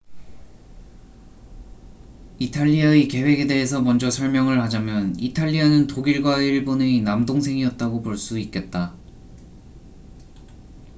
이탈리아의 계획에 대해서 먼저 설명을 하자면 이탈리아는 독일과 일본의 남동생'이었다고 볼 수 있겠다